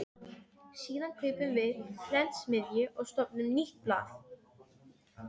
Síðan kaupum við prentsmiðju og stofnum nýtt blað.